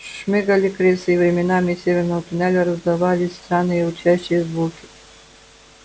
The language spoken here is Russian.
шмыгали крысы и временами из северного туннеля раздавались странные урчащие звуки